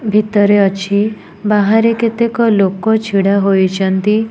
ଭିତରେ ଅଛି ବାହାରେ କେତେକ ଲୋକ ଛିଡ଼ା ହୋଇଚନ୍ତି।